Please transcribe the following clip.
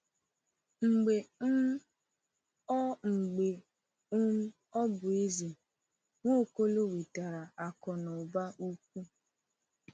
Mgbe um ọ Mgbe um ọ bụ eze, Nwaokolo nwetara akụ na ụba ukwu.